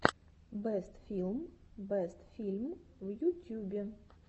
бэст филм бэст фильм в ютюбе